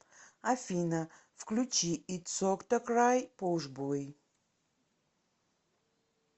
афина включи итсоктокрай пошбой